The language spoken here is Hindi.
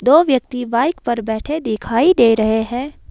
दो व्यक्ति बाइक पर बैठे दिखाई दे रहे हैं।